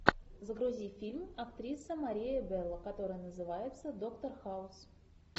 загрузи фильм актриса мария белло который называется доктор хаус